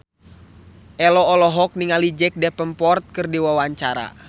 Ello olohok ningali Jack Davenport keur diwawancara